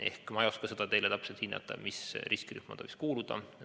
Seega ma ei oska teile täpselt öelda, millisesse riskirühma ta võiks kuuluda.